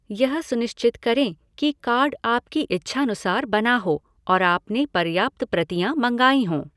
यह सुनिश्चित करें कि कार्ड आपकी इच्छानुसार बना हो और आपने पर्याप्त प्रतियाँ मँगाई हों।